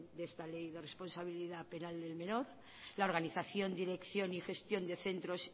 de esta ley de responsabilidad penal del menor la organización dirección y gestión de centros